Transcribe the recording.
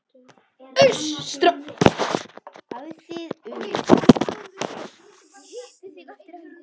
Ég hitti þig eftir helgi.